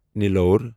نیٖلور